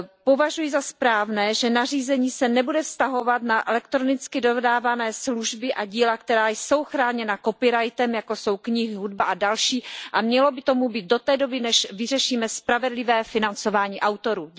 Považuji za správné, že nařízení se nebude vztahovat na elektronicky dodávané služby a díla, která jsou chráněna copyrightem, jako jsou knihy, hudba a další, a mělo by tomu být do té doby, než vyřešíme spravedlivé financování autorů.